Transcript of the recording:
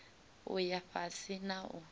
u ya fhasi na u